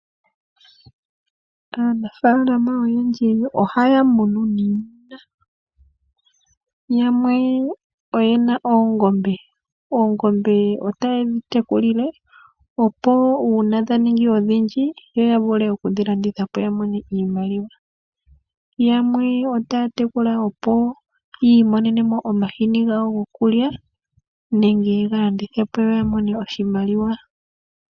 Aanafalama oyendji ohaya munu iimuna yamwe oyena oongombe, oongombe ohaye dhi tekula nuuna dhaningi odhindji ohaye dhi landitha po etaya mono mo oshimaliwa, yamwe otaya munu oongombe opo yiimonene mo omahini gokulya nenge yega landithe po yo yamone oshimaliwa.